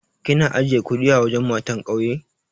Kina ajiye kuɗi a wajen matan ƙauyen?